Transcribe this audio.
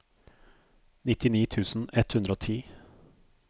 nittini tusen ett hundre og ti